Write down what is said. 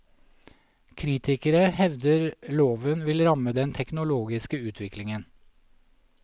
Kritikere hevder loven vil ramme den teknologiske utviklingen.